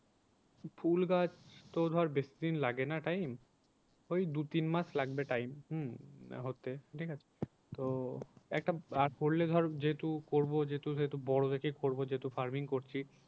ফুল গাছ তো ধর বেশিদিন লাগে না time ওই দু তিনমাস লাগবে time উম হতে ঠিক আছে তো একটা আর করলে ধর যেহেতু করবো যেহেতু সেহেতু বড়ো দেখেই করবো যেহেতু farming করছি।